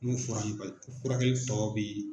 Min fɔra an ye bari furakɛli tɔ bi.